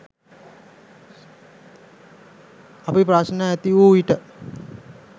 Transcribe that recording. අපි ප්‍රශ්න ඇති වූ විට